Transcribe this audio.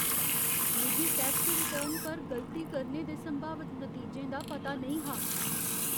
मिगी tax return पर गलती करने दे संभावत नतीजें दा पता नेईं हा।